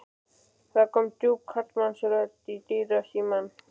Það kom djúp karlmannsrödd í dyrasímann.